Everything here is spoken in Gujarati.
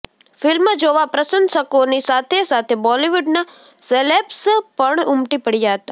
ફિલ્મ જોવા પ્રશંસકોની સાથે સાથે બોલીવુડના સેલેબ્સ પણ ઉમટી પડ્યા હતા